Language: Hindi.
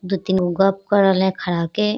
दू-तीनगो गप्प करल ह खड़ा होके --